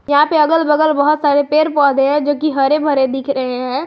यहां पे अगल बगल बहुत सारे पेड़ पौधे हैं जोकि हरे भरे दिख रहे हैं।